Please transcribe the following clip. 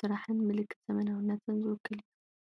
ስራሕን ምልክት ዘመናዊነትን ዝውክል እዩ።